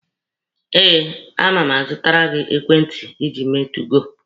Eh, a ma-azụtara gị ekwentị ịji eme 2goo.